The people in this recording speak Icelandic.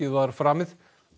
var framið